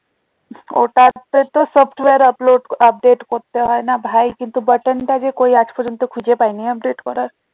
ওটা তে তো software upload update করতে হয় না ভাই কিন্তু button টা যে কই আজ পর্যন্ত খুঁজে পাইনি update করা